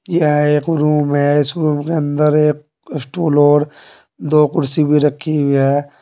यह एक रूम है इस रूम के अंदर एक स्टूल और दो कुर्सी भी रखी हुई है।